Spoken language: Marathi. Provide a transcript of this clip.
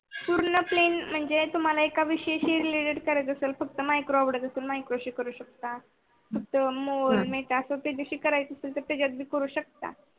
पुरन plan म्हणजे अस मनायच आहे की जी वेगवेगळी करयायच असही करू त्याच्यातून शकता.